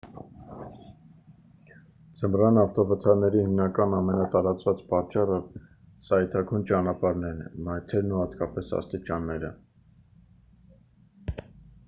ձմռան ավտովթարների հիմնական ամենատարածված պատճառը սայթաքուն ճանապարհներն են մայթերն ու հատկապես աստիճանները